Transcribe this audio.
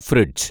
fridge